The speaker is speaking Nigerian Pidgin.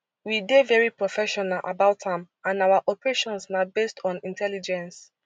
we dey very professional about am and our operations na based on intelligence